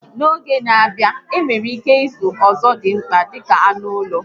N'oge n'a bịa, enwere ike ịzụ ọzọdimgba dịka anụ ụlọ